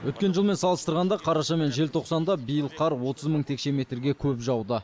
өткен жылмен салыстырғанда қараша мен желтоқсанда биыл қар отыз мың текше метрге көп жауды